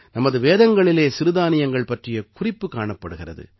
நமது வேதங்களிலே சிறுதானியங்கள் பற்றிய குறிப்பு காணப்படுகிறது